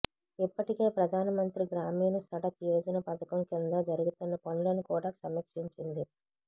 ఇప్పటికే ప్రధాన మంత్రి గ్రామీణ సడక్ యోజన పధకం కింద జరుగుతున్న పనులను కూడా సమీక్షించింది